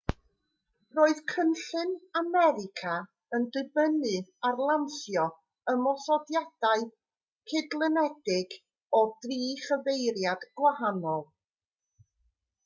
roedd cynllun america yn dibynnu ar lansio ymosodiadau cydlynedig o dri chyfeiriad gwahanol